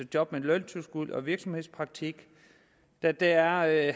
job med løntilskud og virksomhedspraktik da der er